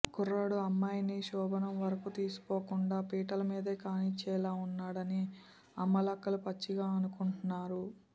కుర్రాడు అమ్మాయిని శోభనం వరకు తీసుకోపోకుండా పీటలమీదే కానిచ్చేలా ఉన్నాడని అమ్మలక్కలు పచ్చిగా అనుకుంటారు